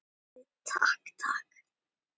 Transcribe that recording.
Snorri, takk, takk.